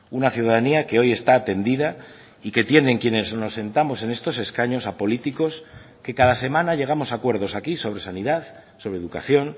una ciudadanía que hoy está atendida y que tienen quienes nos sentamos en estos escaños a políticos que cada semana llegamos a acuerdos aquí sobre sanidad sobre educación